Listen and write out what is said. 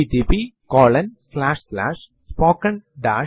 പക്ഷെ ഈ ഫൈൽ ന്റെ ഉള്ളടക്കം എപ്രകാരം നമുക്ക് കാണാൻ പറ്റും